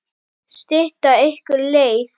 Stytta ykkur leið!